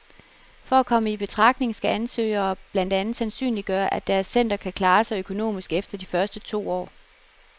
For at komme i betragtning skal ansøgere blandt andet sandsynliggøre, at deres center kan klare sig økonomisk efter de to første år.